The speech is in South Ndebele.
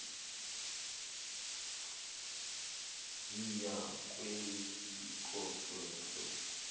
yiya kuwebsite yo